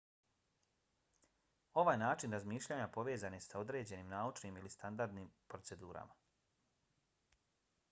ovaj način razmišljanja povezan je s određenim naučnim ili standardnim procedurama